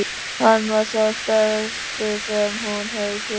Hann var sá stærsti sem hún hafði séð.